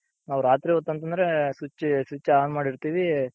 ನಾವ್ ರಾತ್ರಿ ಹೊತ್ತ್ ಅಂತಂದ್ರೆ switch on ಮಾಡಿರ್ತಿವಿ,